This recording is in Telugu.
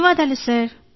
ధన్యవాదాలు సార్